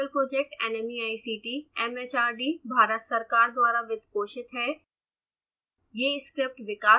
spoken tutorial project nmeict mhrd Bharat सरकार द्वारा वित्त पोषित है